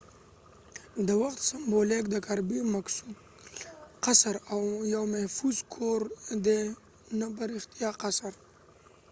د وخت سمبولیک د کربی مکسول قصر kirby muxole castle یو محفوظ کور دي نه په رښتیا قصر